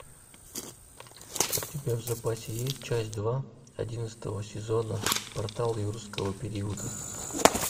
у тебя в запасе есть часть два одиннадцатого сезона портал юрского периода